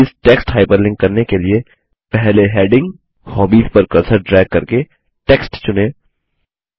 hobbies text hyperlink करने के लिए पहले हैडिंग हॉबीज पर कर्सर ड्रैग करके टेक्स्ट चुनें